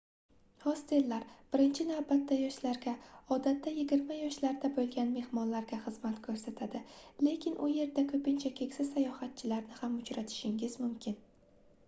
hostellar birinchi navbatda yoshlarga odatda yigirma yoshlarda boʻlgan mehmonlarga xizmat koʻrsatadi lekin u yerda koʻpincha keksa sayohatchilarni ham uchratishingiz mumkin